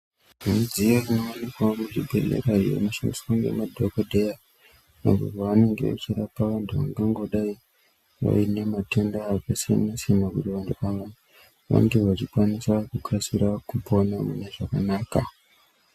Midziyo inowanikwawo muzvibhedhlera iyo inoshandiswa ngemadhokodheya apo pavanenge vechirapa vantu vakangodai vaine matenda akasiyana siyana kuti vantu ava vange vachikwanisa kukasire kupona mune zvakanaka.